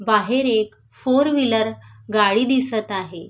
बाहेर एक four wheeler गाडी दिसत आहे.